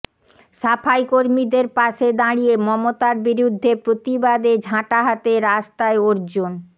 সাফাই কর্মীদের পাশে দাঁড়িয়ে মমতার বিরুদ্ধে প্রতিবাদে ঝাঁটা হাতে রাস্তায় অর্জুন